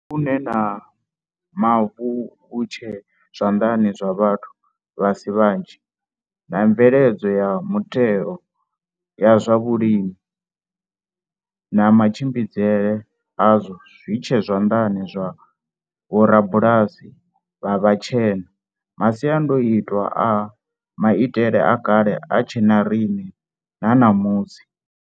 Musi vhuṋe ha mavu vhu tshe zwanḓani zwa vhathu vha si vhanzhi, na mveledzo ya mutheo ya zwa vhulimi na matshimbidzele azwo zwi tshe zwanḓani zwa vhorabulasi vha vhatshena, masiandaitwa a maitele a kale a tshe na riṋe na ṋamusi.